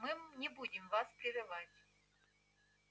мы не будем вас прерывать